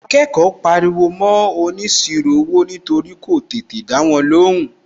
Àwọn akẹ́kọ̀ọ́ ń pariwo mọ́ óniṣirò owó nítorí kò tètè dáwọn lóhùn.